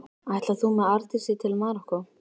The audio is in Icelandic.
Ætlar þú með Arndísi til Marokkó?